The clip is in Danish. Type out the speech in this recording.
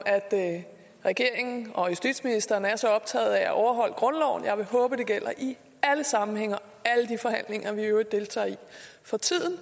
at regeringen og justitsministeren er så optaget af at overholde grundloven jeg vil håbe at det gælder i alle sammenhænge og vi i øvrigt deltager i for tiden